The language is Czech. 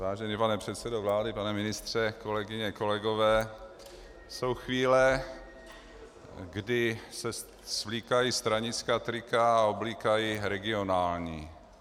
Vážený pane předsedo vlády, pane ministře, kolegyně, kolegové, jsou chvíle, kdy se svlíkají stranická trika a oblíkají regionální.